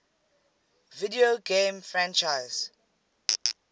video game franchises